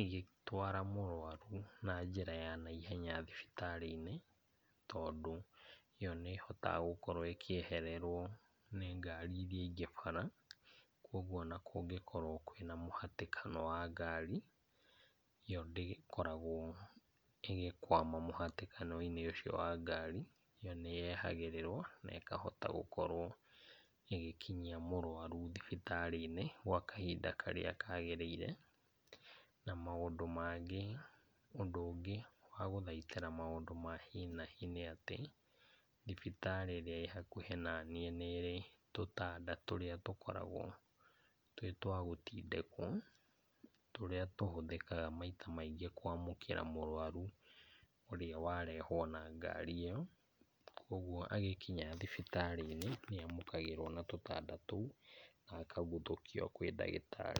ĩgĩtwara mũrwaru na njĩra ya naihenya thibitarĩinĩ, tondũ ĩyo nĩhotaga gũkorwo ĩkĩehererwo nĩ ngari iria ingĩ bara, kwoguo ona kũngĩkorwo kwĩna mũhĩtĩkana wa ngari ĩyo ndĩgĩkorwagwo ĩgĩkwama mũhĩtĩkanoinĩ ũcio wa ngari, ĩyo nĩyehagĩrĩrwo na ĩkahota gũkorwo ĩgĩkinyia mũrwaru thibitarĩinĩ kwa kahinda karĩa kagĩrĩire na maũndũ mangĩ mũndũ ũngĩ agũthaitĩra maũndũ ma hi na hi nĩ atĩ thibitarĩ ĩrĩa ĩhakuhĩ na niĩ nĩrĩ tũtanda tũrĩa tũkoragwo twĩ twa gũtindĩkwo tũrĩa tũhũthĩkaga maita maingĩ kwamũkĩra mũrwaru ũrĩa warehwo na ngari ĩyo ,kwoguo agĩkinya thibitarĩinĩ nĩamũkagĩrwo na tũtanda tũu akahuthũkio kwĩ ndagĩtarĩ.